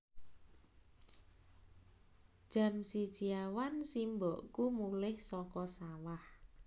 Jam siji awan simbokku mulih saka sawah